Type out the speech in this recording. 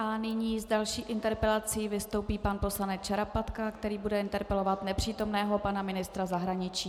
A nyní s další interpelací vystoupí pan poslanec Šarapatka, který bude interpelovat nepřítomného pana ministra zahraničí.